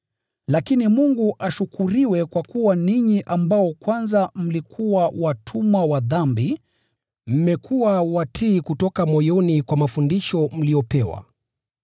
Lakini Mungu ashukuriwe kwa kuwa ninyi ambao kwanza mlikuwa watumwa wa dhambi, mmekuwa watii kutoka moyoni kwa mafundisho mliyopewa.